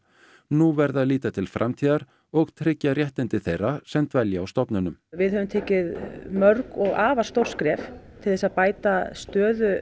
nú verði að líta til framtíðar og tryggja réttindi þeirra sem dvelja á stofnunum við höfum tekið mörg og afar stór skref til að bæta stöðu